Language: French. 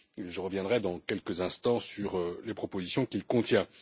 Je reviendrai dans quelques instants sur les propositions qu'il contient.